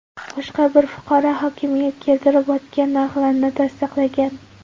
Boshqa bir fuqaro hokimiyat keltirib o‘tgan narxlarni tasdiqlagan.